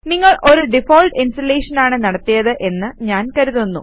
നിങ്ങൾ ഒരു default installation ആണ് നടത്തിയത് എന്ന് ഞാൻ കരുതുന്നു